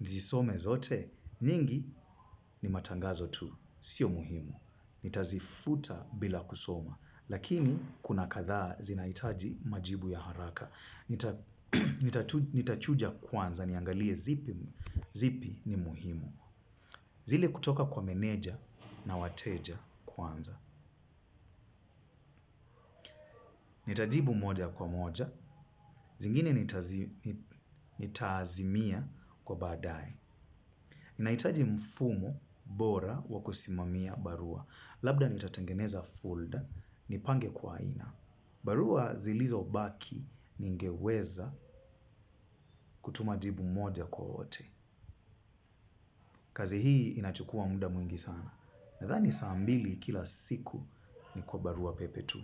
nizisome zote? Nyingi ni matangazo tu. Sio muhimu. Nitazifuta bila kusoma. Lakini, kuna kadhaa zinaitaji majibu ya haraka. Nitachuja kwanza, niangalie zipi ni muhimu. Zile kutoka kwa meneja na wateja kwanza. Nitajibu moja kwa moja. Zingine nitaazimia kwa baadae. Naitaji mfumo bora wakusimamia barua. Labda nitatangeneza fulda, nipange kwa aina. Barua zilizobaki ningeweza kutuma jibu moja kwa wote. Kazi hii inachukua muda mwingi sana. Nadhani saa mbili kila siku ni kwa barua pepe tu.